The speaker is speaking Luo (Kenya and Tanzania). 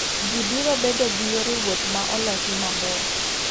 Ji biro bedo gi yore wuoth ma olosi maber.